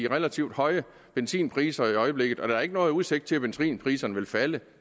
relativt høje benzinpriser i øjeblikket og der er ikke nogen udsigt til at benzinpriserne vil falde